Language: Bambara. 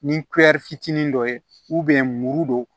Ni fitinin dɔ ye muru don